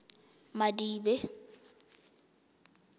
madibe